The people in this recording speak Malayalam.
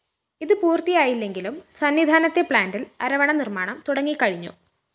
ഇത് പൂര്‍ത്തിയായില്ലെങ്കിലും സന്നിധാനത്തെ പ്ലാന്റില്‍ അരവണ നിര്‍മാണം തുടങ്ങിക്കഴിഞ്ഞു